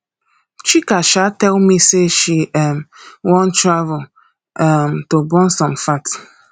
chika um tell me say she um wan travel um to burn some fat